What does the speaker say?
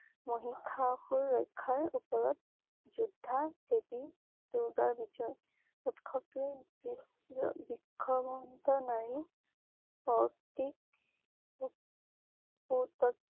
মহিসাসুৰ ৰক্ষাৰ উপৰত যোদ্ধা দেৱী দুৰ্গাৰ বিজয়। উৎসৱ টোৱে বিষবিক্ষ নাৰী প্ৰতীকপুটক